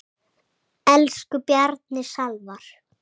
Elsku Bjarni Salvar.